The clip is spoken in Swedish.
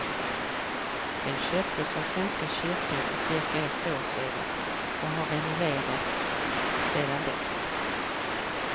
Den köptes av svenska kyrkan för cirka ett år sedan och har renoverats sedan dess.